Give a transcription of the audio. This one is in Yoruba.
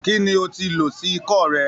Kí ni o ti lò sí ikọ́ rẹ?